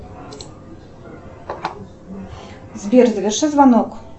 сбер заверши звонок